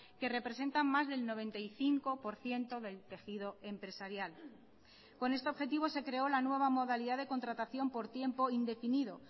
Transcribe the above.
que representan más del noventa y cinco por ciento del tejido empresarial con este objetivo se creó la nueva modalidad de contratación por tiempo indefinido